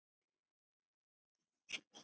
Svo var allt búið.